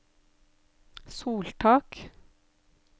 soltak